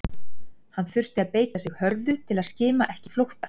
Hann þurfti að beita sig hörðu til að skima ekki flótta